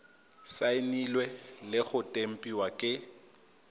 saenilwe le go tempiwa ke